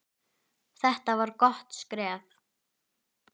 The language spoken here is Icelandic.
Þetta var gott skref.